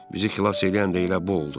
Bizi xilas eləyən də elə bu oldu.